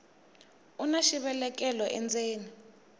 una xivelekelo endzeni